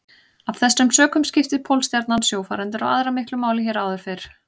Af þessum sökum skipti Pólstjarnan sjófarendur og aðra miklu máli hér áður fyrr.